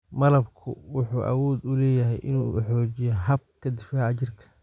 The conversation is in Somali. Malabku wuxuu awood u leeyahay inuu xoojiyo habka difaaca jirka.